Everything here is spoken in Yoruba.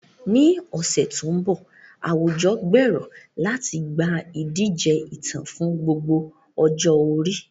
Ní ọ̀sẹ̀ tó ń bọ̀, àwùjọ gbèrò láti gba ìdíje ìtàn fún gbogbo ọjọ́ orí.